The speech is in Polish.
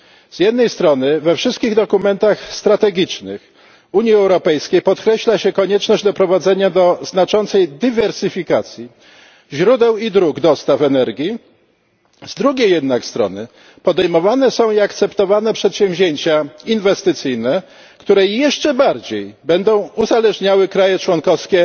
Z jednej strony we wszystkich dokumentach strategicznych Unii Europejskiej podkreśla się konieczność doprowadzenia do znaczącej dywersyfikacji źródeł i dróg dostaw energii, z drugiej jednak strony podejmowane są i akceptowane przedsięwzięcia inwestycyjne, które jeszcze bardziej będą uzależniały kraje członkowskie